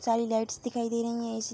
सारी लाइट्स दिखाई दे रहीं हैं इसी --